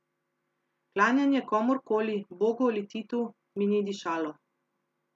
Klanjanje komurkoli, Bogu ali Titu, mi ni dišalo.